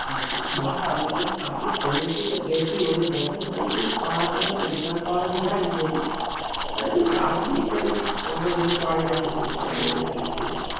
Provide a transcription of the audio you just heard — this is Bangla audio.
আমি সমুদ্রেতে গেছি অনেকবারই না তাই পাহাড় টা দেখার ইছা কারণ পাহাড়ে আমি যায়নি যেহেতু তাই একটু রাজি টা যদি করানো যেতে পারে বা কিছু তাহলে আরকি একটু